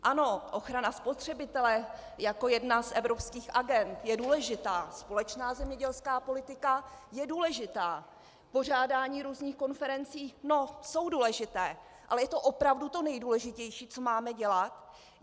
Ano, ochrana spotřebitele jako jedna z evropských agend je důležitá, společná zemědělská politika je důležitá, pořádání různých konferencí - no, jsou důležité, ale je to opravdu to nejdůležitější, co máme dělat?